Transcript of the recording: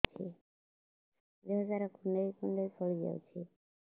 ଦେହ ସାରା କୁଣ୍ଡାଇ କୁଣ୍ଡାଇ ଫଳି ଯାଉଛି